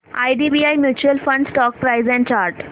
IDBI mutual fund stock price and chart